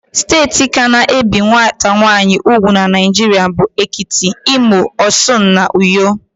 Steeti ka na-ebi nwata nwaanyị ùgwù n' Naijiria bụ: Ekiti, Imo, Osun, na Uyo.